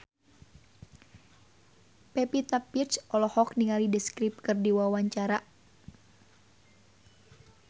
Pevita Pearce olohok ningali The Script keur diwawancara